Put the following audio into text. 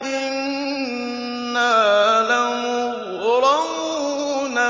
إِنَّا لَمُغْرَمُونَ